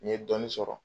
N ye dɔɔnin sɔrɔ